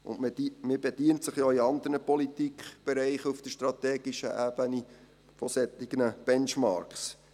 Man bedient sich auch in anderen Politikbereichen auf der strategischen Ebene solcher Benchmarks.